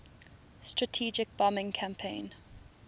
strategic bombing campaign